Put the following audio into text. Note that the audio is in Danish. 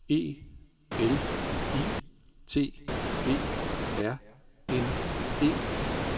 E L I T E R N E